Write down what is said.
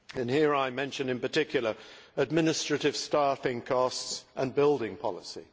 Here I mention in particular administrative staffing costs and building policy